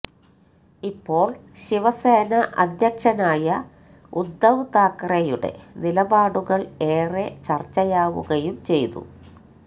ഇപ്പോൾ ശിവസേന അധ്യക്ഷനായ ഉദ്ദവ് താക്കറെയുടെ നിലപാടുകൾ ഏറെ ചർച്ചയാവുകയും ചെയ്തു